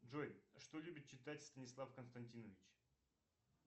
джой что любит читать станислав константинович